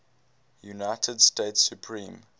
united states supreme